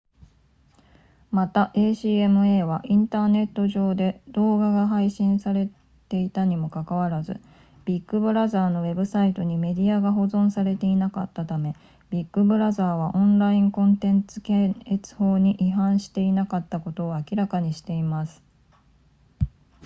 また acma はインターネット上で動画が配信されていたにもかかわらずビッグブラザーのウェブサイトにメディアが保存されていなかったためビッグブラザーはオンラインコンテンツ検閲法に違反していなかったことを明らかにしています